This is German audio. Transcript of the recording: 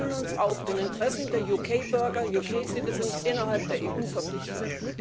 Wir fühlen uns auch den Interessen der UK Bürger innerhalb der EU verpflichtet.